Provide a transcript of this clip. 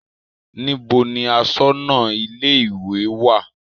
Níbo ni aṣọ́nà ilé-ìwé wà?